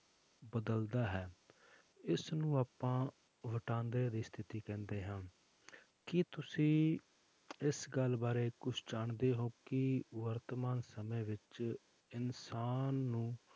ਬਦਲਦਾ ਹੈ ਇਸਨੂੰ ਆਪਾਂ ਵਟਾਂਦਰੇ ਦੀ ਸਥਿਤੀ ਕਹਿੰਦੇ ਹਾਂ ਕੀ ਤੁਸੀਂ ਇਸ ਗੱਲ ਬਾਰੇ ਕੁਛ ਜਾਣਦੇ ਹੋ ਕਿ ਵਰਤਮਾਨ ਸਮੇਂ ਵਿੱਚ ਇਨਸਾਨ ਨੂੰ